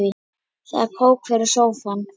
Það er kók fyrir sófann.